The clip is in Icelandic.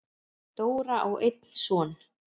Dóra á einn son.